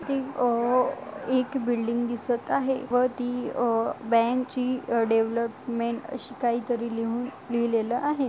इथे अ एक बिल्डिंग दिसत आहे व ती अ बँक ची डेव्हलपमेंट अशी काही तरी लिहून लिहिलेल आहे.